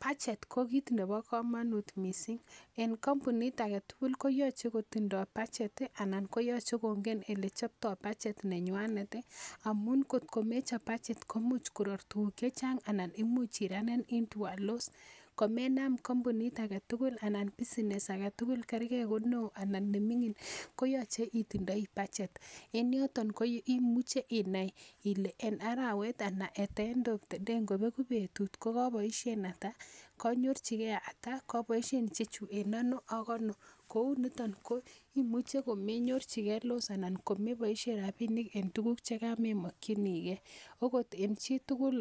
budget ko kit nebo komonut missing en kampunit aketugul koyoche kotindoo budget anan koyoche kongen elechoptoo budget nenywanet ih amun kot ko mechop budget komuch koror tuguk chechang ana imuch iranen into a loss komenam kampunit aketugul anan business aketugul kergee ko neoo anan neming'in koyoche itindoi budget en yoton koimuche inai ile en arawet ana at the end of the day ngobeku betut kokeboisien ata konyorchigee ata koboisien ichechu en ano ak ano kouniton koimuche komenyorchigee loss ana komeboisien rapinik en tuguk chekamemokyinigee okot en chitugul